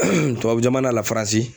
Tubabu jamana la faransi